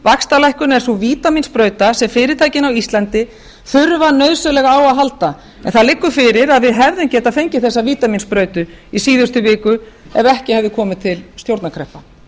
vaxtalækkun er sú vítamínsprauta sem fyrirtækin á íslandi þurfa nauðsynlega á að halda en það liggur fyrir að við hefðum getað fengið þessa vítamínsprauta í síðustu viku ef ekki hefði komið til stjórnarkreppa